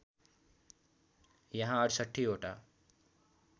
यहाँ ६८ वटा